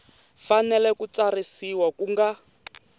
fanele ku tsarisiwa ku nga